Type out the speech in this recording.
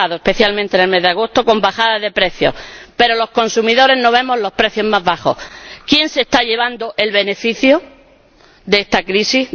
Se ha dado especialmente en el mes de agosto, con bajadas de precios. Pero los consumidores no vemos los precios más bajos. ¿Quién se está llevando el beneficio de esta crisis?